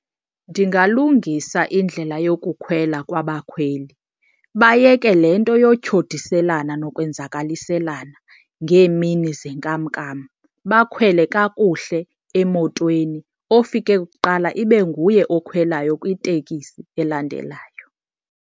Ndingalungisa indlela yokukhwela kwabakhweli, bayeke le nto yotyhudiselana nokwenzakaliselana ngeemini zenkamnkam. Bakhwele kakuhle emotweni, ofike kuqala ibe nguye okhwelwayo kwitekisi elandelayo.